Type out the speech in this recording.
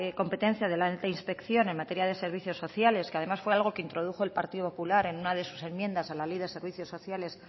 competencia de la inspección en materia de servicios sociales que además fue algo que introdujo el partido popular en una de sus enmiendas a la ley de servicios sociales